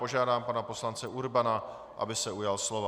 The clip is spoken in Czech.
Požádám pana poslance Urbana, aby se ujal slova.